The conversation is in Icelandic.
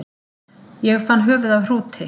Ég fann höfuð af hrúti